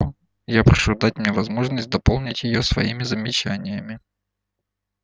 я прошу дать мне возможность дополнить её своими замечаниями